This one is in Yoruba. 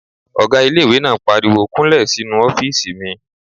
Ọgá ilé-ìwé náà pariwo "kúnlẹ̀ sínu ọ́fìsì mi!"